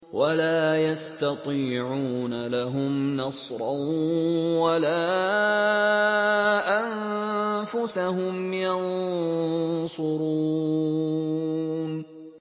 وَلَا يَسْتَطِيعُونَ لَهُمْ نَصْرًا وَلَا أَنفُسَهُمْ يَنصُرُونَ